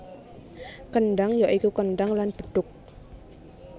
Kendhang ya iku kendhang lan bedhug